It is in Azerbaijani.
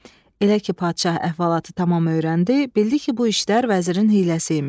Elə ki padşah əhvalatı tamam öyrəndi, bildi ki, bu işlər vəzirin hiyləsi imiş.